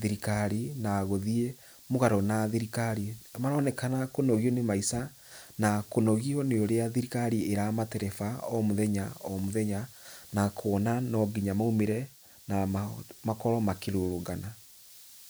thirikari, na gũthiĩ mũgarũ na thirikari. Nĩ maronekena kũnogio nĩ maica na kũnogio nĩ ũrĩa thirikari ĩramatereba o mũthenya o mũthenya, na kuona no nginya maumĩre na makorwo makĩrũrũngana.